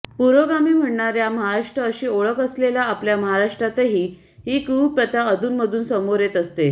पुरोगामी म्हणवणार्या महाराष्ट्र अशी ओळख असलेल्या आपल्या महाराष्ट्रातही ही कुप्रथा अधूनमधून समोर येत असते